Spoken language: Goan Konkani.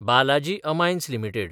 Balaji Amines limited